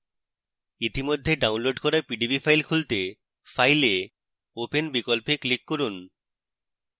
ইতিমধ্যে ডাউনলোড করা pdb file খুলতে file এ open বিকল্পে click করুন